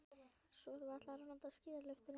Svo þú ætlar ekki að nota skíðalyftuna.